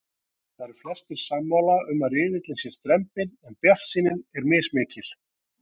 Það eru flestir sammála um að riðillinn sé strembinn en bjartsýnin er mismikil.